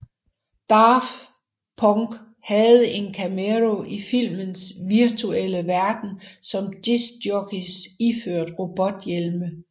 Daft Punk havde en cameo i filmens virtuelle verden som disc jockeys iført robothjelme